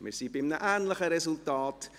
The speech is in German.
Wir kommen zu einem ähnlichen Resultat.